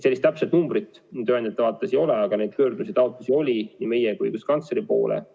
Sellist täpset numbrit tööandjate vaates mul ei ole, aga neid pöördumisi-taotlusi oli nii meie kui ka õiguskantsleri poole.